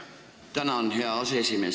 Tänan, hea aseesimees!